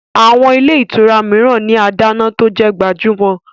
Àwọn ilé ìtura mìíran ní adáná tó jẹ gbajúmọ̀